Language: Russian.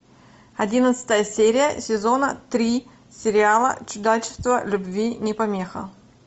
одиннадцатая серия сезона три сериала чудачество любви не помеха